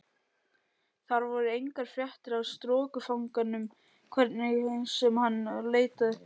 Þar voru engar fréttir af strokufanganum hvernig sem hann leitaði.